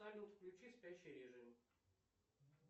салют включи спящий режим